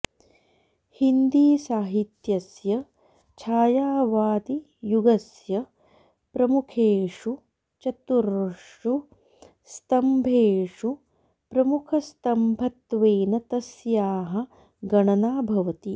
हिन्दीसाहित्यस्य छायावादियुगस्य प्रमुखेषु चतुर्षु स्तम्भेषु प्रमुखस्तम्भत्वेन तस्याः गणना भवति